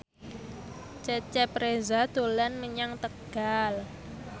Cecep Reza dolan menyang Tegal